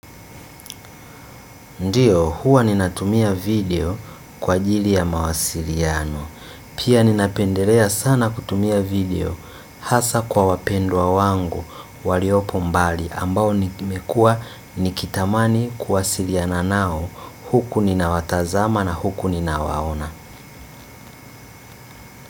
Ndiyo huwa ninatumia video kwa ajili ya mawasiriano. Pia ninapendelea sana kutumia video hasa kwa wapendwa wangu waliopo mbali ambao nikitamani kuwasiliana nao huku ninawatazama na huku ninawaona.